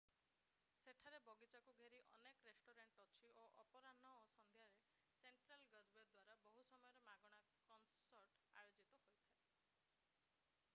ସେଠାରେ ବଗିଚାକୁ ଘେରି ଅନେକ ରେଷ୍ଟୁରାଣ୍ଟ ଅଛି ଏବଂ ଅପରାହ୍ନ ଓ ସନ୍ଧ୍ୟାରେ ସେଣ୍ଟ୍ରାଲ୍ ଗଜେବୋ ଦ୍ଵାରା ବହୁ ସମୟରେ ମାଗଣା କନ୍ସର୍ଟ ଆୟୋଜିତ ହୋଇଥାଏ